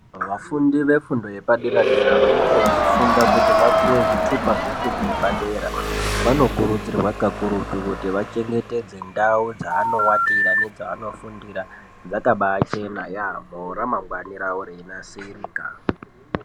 Vafundi vefundo yepadera dera vanenge veifunda kuti vapuwe zvithupa zvefundo yepadera vanokurudzirwa kakurutu kuti vachengetedze ndau dzaanowatira nedzavanofundira dzakabachena yaamho ramangwani ravo reinasirika.